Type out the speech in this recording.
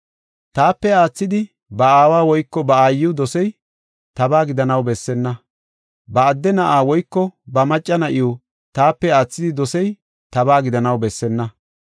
“Taape aathidi ba aawa woyko ba aayiw dosey, tabaa gidanaw bessenna. Ba adde na7a woyko ba macca na7iw taape aathidi dosey, tabaa gidanaw bessenna.